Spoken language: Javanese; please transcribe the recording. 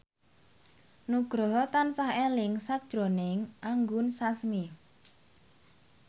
Nugroho tansah eling sakjroning Anggun Sasmi